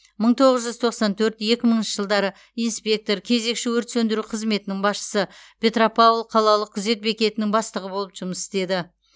мың тоғыз жүз тоқсан төрт екі мыңыншы жылдары инспектор кезекші өрт сөндіру қызметінің басшысы петропавл қалалық күзет бекетінің бастығы болып жұмыс істеді